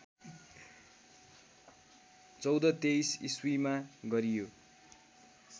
१४२३ इस्वीमा गरियो